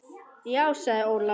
Já sagði Ólafur.